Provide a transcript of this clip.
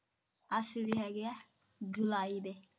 ਅਸੀਂ ਵੀ ਹੈਗੇ ਆ ਜੁਲਾਈ ਦੇ